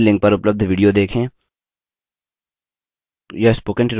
निम्न link पर उपलब्ध video देखें